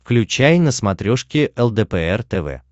включай на смотрешке лдпр тв